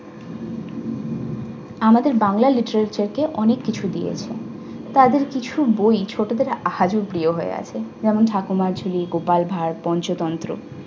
আমাদের বাংলা লিখে রেখে কে অনেক কিছু দিয়েছে। তাদের কিছু বই ছোটদের আজও প্রিয় হয়ে আছে। যেমন- ঠাকুরমার ঝুলি, গোপাল ভাঁড়, পঞ্চতন্ত্র